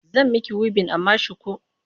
Zan miki wibin amma shuku.